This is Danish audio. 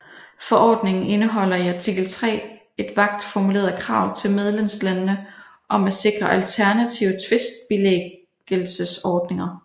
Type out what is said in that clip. Forordningen indeholder i artikel 3 et vagt formuleret krav til medlemslandene om at sikre alternative tvistbilæggelsesordninger